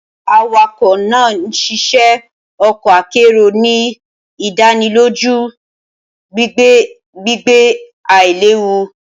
Awakọ naa nṣiṣẹ ọkọ akero, ni idaniloju gbigbe gbigbe ailewu.